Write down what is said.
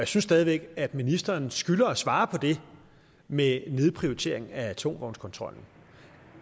synes stadig væk at ministeren skylder os at svare på det med nedprioritering af tungtvognskontrollen